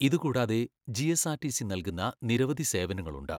ഇത് കൂടാതെ ജിഎസ്ആർടിസി നൽകുന്ന നിരവധി സേവനങ്ങളുണ്ട്.